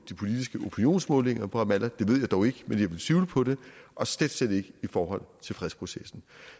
de politiske opinionsmålinger i ramallah det ved jeg dog ikke men jeg vil tvivle på det og slet slet ikke i forhold til fredsprocessen